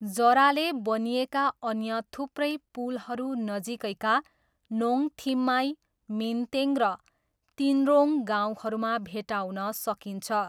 जराले बनिएका अन्य थुप्रै पुलहरू नजिकैका नोङथिम्माई, मिन्तेङ र तिन्रोङ गाउँहरूमा भेट्टाउन सकिन्छ।